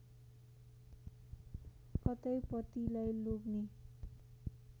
कतै पतिलाई लोग्ने